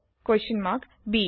b